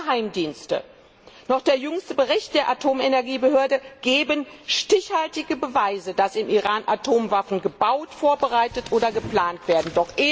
Weder Geheimdienste noch der jüngste Bericht der Atomenergiebehörde geben stichhaltige Beweise, dass im Iran Atomwaffen gebaut, vorbereitet oder geplant werden.